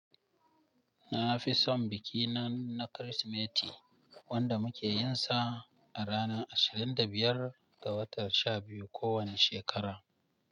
Na fison biki na Kirsimeti wanda muke yinsa a ranar ashirin da biyar ga watan sha biyu kowane shekara.